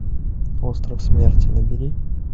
остров смерти набери